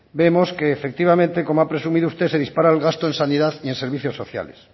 vemos que efectivamente como ha presumido usted se dispara el gasto en sanidad y en servicios sociales